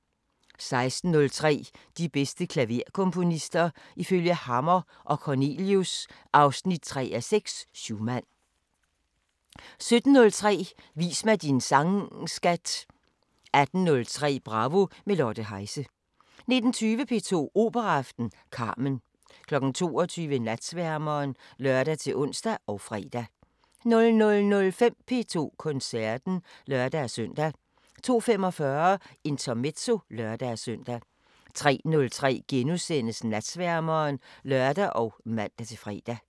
16:03: De bedste klaverkomponister – ifølge Hammer & Cornelius (3:6): Schumann 17:03: Vis mig din sang skat! 18:03: Bravo – med Lotte Heise 19:20: P2 Operaaften: Carmen 22:00: Natsværmeren (lør-ons og fre) 00:05: P2 Koncerten (lør-søn) 02:45: Intermezzo (lør-søn) 03:03: Natsværmeren *(lør og man-fre)